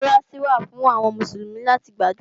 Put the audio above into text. Mọ́sálásí wà fún àwọn Mùsùlùmí láti gbàdúrà